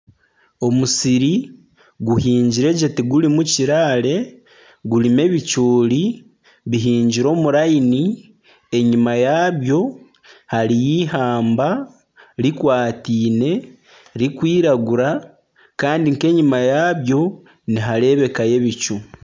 Omusiri guhingire gye tigurimu kiraare, gurimu ebicoori bihingire omu layini, enyima yabyo hariyo ihamba rikwatiine ririkwiragura kandi nk'enyima yabyo niharebekayo ebicu.